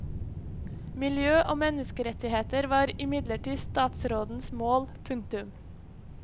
Miljø og menneskerettigheter var imidlertid statsrådens mål. punktum